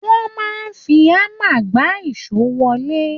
Wọ́n máa ń fi hammar gbá ìso wọlé.